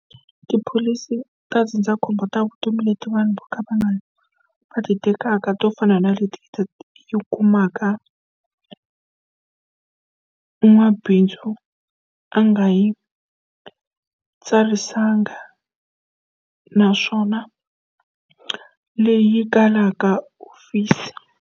Tipholisi ta ndzindzakhombo ta vutomi leti vanhu vo ka va nga, va ti tekaka to fana na leti yi kumaka n'wamabindzu a nga yi tsarisanga naswona leyi kalaka office.